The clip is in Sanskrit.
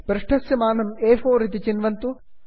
पृष्ठस्य मानं अ4 ए फोर् इति चिन्वन्तु